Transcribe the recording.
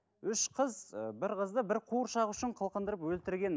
үш қыз ы бір қызды бір қуыршақ үшін қылқындырып өлтірген